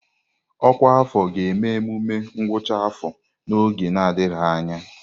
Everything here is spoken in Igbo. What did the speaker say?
Ọkwa afọ ga-eme emume ngwụcha afọ ha n'oge adịghị anya.